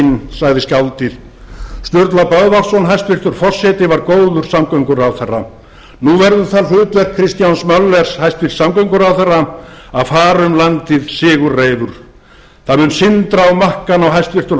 dauðasökin sagði skáldið sturla böðvarsson hæstvirtur forseti var góður samgönguráðherra nú verður það hlutverk kristjáns möller hæstvirtur samgönguráðherra að fara um landið sigurreifur það mun sindra á makkann á hæstvirtan